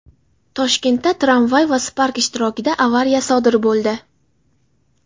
Toshkentda tramvay va Spark ishtirokida avariya sodir bo‘ldi.